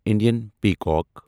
Indian peacock